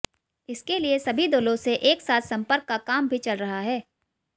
इसके लिए सभी दलों से एक साथ संपर्क का काम भी चल रहा है